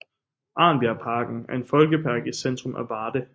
Arnbjerg Parken er en folkepark i centrum af Varde